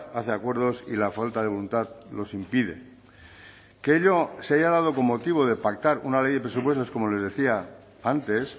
hace acuerdos y la falta de voluntad los impide que ello se haya dado con motivo de pactar una ley de presupuestos como les decía antes